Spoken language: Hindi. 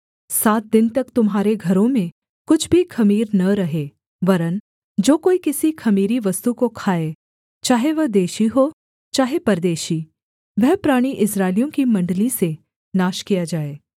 सात दिन तक तुम्हारे घरों में कुछ भी ख़मीर न रहे वरन् जो कोई किसी ख़मीरी वस्तु को खाए चाहे वह देशी हो चाहे परदेशी वह प्राणी इस्राएलियों की मण्डली से नाश किया जाए